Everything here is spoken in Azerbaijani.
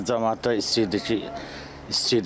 Camaatda istəyirdi ki, istəyir.